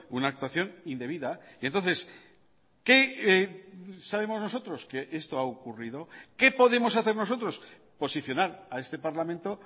una actuación indebida y entonces qué sabemos nosotros que esto ha ocurrido qué podemos hacer nosotros posicionar a este parlamento